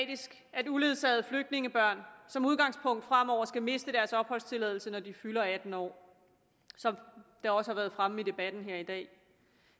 at uledsagede flygtningebørn som udgangspunkt fremover skal miste deres opholdstilladelse når de fylder atten år som det også har været fremme i debatten her i dag